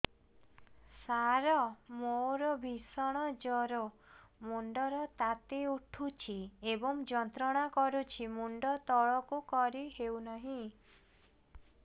ସାର ମୋର ଭୀଷଣ ଜ୍ଵର ମୁଣ୍ଡ ର ତାତି ଉଠୁଛି ଏବଂ ଯନ୍ତ୍ରଣା କରୁଛି ମୁଣ୍ଡ ତଳକୁ କରି ହେଉନାହିଁ